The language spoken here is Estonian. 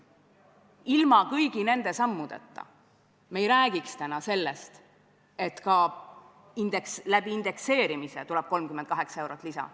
Ilma kõigi nende sammudeta ei räägiks me täna sellest, et indekseerimise abil tuleb 38 eurot lisa.